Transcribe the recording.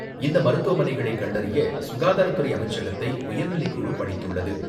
இந்த மருத்துவமனைகளைக் கண்டறிய சுகாதாரத்துறை அமைச்சகத்தை உயர்நிலைக்குழு பணித்துள்ளது.